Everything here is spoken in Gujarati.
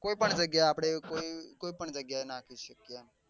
કોઈ પણ આપડે કોઈ કોઈ પણ જગ્યા એ નાખી શકીએ એમ